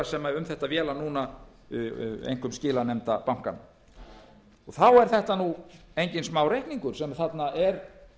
sem um þetta véla núna einkum skilanefnda bankanna þá er þetta nú enginn smáreikningur sem þarna er